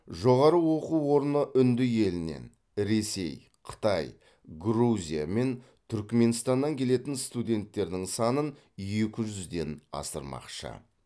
жоғары оқу орны үнді елінен ресей қытай грузия мен түрікменстаннан келетін студенттердің санын екі жүзден асырмақшы